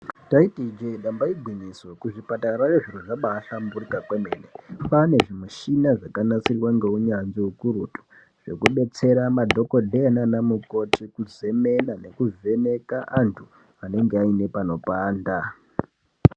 Taiti ijee damba igwinyiso kuzvipatara zviro zvabahlamburika kwemene kwane zvimishina zvakabanasirwa ngeunyanzvi hukurutu. Zvekubetsera madhogodheya nana mukoti kuzemena nekuvheneka antu anenge aine panopanda.